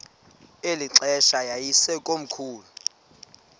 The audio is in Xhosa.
eli xesha yayisekomkhulu